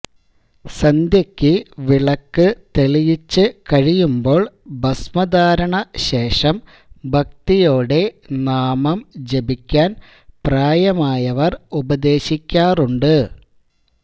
സന്ധ്യക്ക് വിളക്ക് തെളിയിച്ചുകഴിയുമ്പോൾ ഭസ്മധാരണ ശേഷം ഭക്തിയോടെ നാമം ജപിക്കാൻ പ്രായമായവർ ഉപദേശിക്കാറുണ്ട്